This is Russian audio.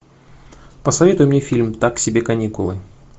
посоветуй мне фильм так себе каникулы